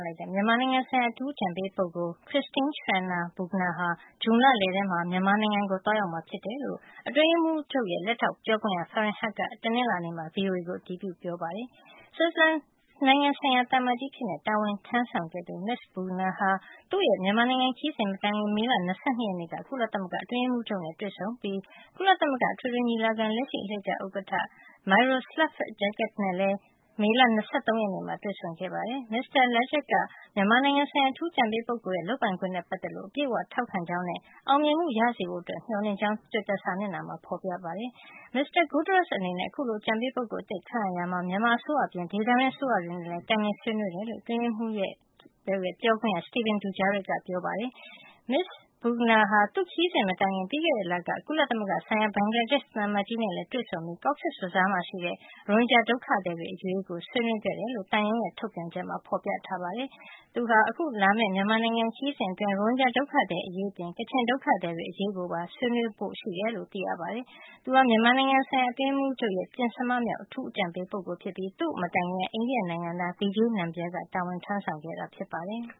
လိုက်တဲ့ မြန်မာနိုင်ငံဆိုင်ရာ အထူးအကြံပေးပုဂ္ဂိုလ် Christine Schraner Burgener ဟာ ဇွန်လလယ်မှာ မြန်မာနိုင်ငံကို သွားရောက်မှာ ဖြစ်တယ်လို့ အတွင်းရေးမှူးချုပ်ရဲ့ လက်ထောက်ပြောခွင့်ရ Faren Haq က တနင်္လာနေ့က VOA ကို အတည်ပြု ပြောကြားခဲ့ပါတယ်။ ဂျာမနီနိုင်ငံဆိုင်ရာ ဆွစ်ဇလန်သံအမတ်ကြီးအဖြစ် တာဝန်ထမ်းဆောင်ခဲ့သူ မစ္စ Burgener ဟာ သူ့ရဲ့ မြန်မာနိုင်ငံ ခရီးစဉ်မတိုင်ခင် မေလ ၂၂ ရက်နေ့က ကုလသမဂ္ဂ အတွင်းရေးမှူးချုပ်နဲ့ တွေ့ဆုံခဲ့ပြီး ကုလသမဂ္ဂ အထွေထွေညီလာခံ လက်ရှိအလှည့်ကျ ဥက္ကဌ Miroslav Lajčák နဲ့လည်း မေလ ၂၃ ရက်နေ့က တွေ့ဆုံခဲ့ပါတယ်။ မစ္စတာ Lajcak က မြန်မာနိုင်ငံဆိုင်ရာ အထူးအကြံပေး ပုဂ္ဂိုလ်ရဲ့ လုပ်ပိုင်ခွင့်နဲ့ ပတ်သက်လို့ အပြည့်အဝထောက်ခံကြောင်းနဲ့ အောင်မြင်မှုရစေဖို့ မျှော်လင့်တဲ့အကြောင်း သူ့ရဲ့ တွစ်တာ စာမျက်နှာမှာ ဖေါ်ပြခဲ့ပါတယ်။ မစ္စတာ Guterres အနေနဲ့ အခုလို အကြံပေး ပုဂ္ဂိုလ်အသစ် ခန့်အပ်ရာမှာ မြန်မာ အစိုးရအပြင် ဒေသတွင်းအစိုးရတွေနဲ့လည်း တိုင်ပင် ဆွေးနွေးခဲ့တယ်လို့ အတွင်းရေးမှူးချုပ်ရဲ့ ပြောခွင့်ရ Stephen Dujarric ကပြောကြားခဲ့ပါတယ်။ မစ္စ Burgener ဟာ သူ့ခရီးစဉ်မတိုင်ခင် ပြီးခဲ့တဲ့လက ကုလသမဂ္ဂဆိုင်ရာ ဘင်္ဂလားဒေ့ရှ် သံအမတ်ကြီးနဲ့လည်း တွေ့ဆုံခဲ့ပြီး Cox’s Bazar ရှိ ရိုဟင်ဂျာ ဒုက္ခသည်တွေအရေး ဆွေးနွေးခဲ့တယ်လို့ သံရုံး ထုတ်ပြန်ချက်မှာ ဖေါ်ပြထားပါတယ်။ မစ္စ Burgener ဟာ အခုလာမယ့် မြန်မာနိုင်ငံ ခရီးစဉ် အတွင်း ရိုဟင်ဂျာဒုက္ခသည် အရေးအပြင် ကချင်ဒုက္ခသည်တွေ အရေးကိုပါ ဆွေးနွေးဖို့ ရှိတယ်လို့ သိရပါတယ်။ သူဟာ မြန်မာနိုင်ငံ ဆိုင်ရာ အတွင်းရေးမှူးချုပ်ရဲ့ ပဉ္စမမြောက် အထူးအကြံပေး ပုဂ္ဂိုလ်ဖြစ်ပြီး သူူ့မတိုင်ခင်က အိန္ဒိယ နိုင်ငံသား Vijay Nambia တာဝန်ထမ်းဆောင်ခဲ့တာ ဖြစ်ပါတယ်။